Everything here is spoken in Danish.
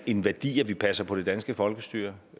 en værdi at vi passer på det danske folkestyre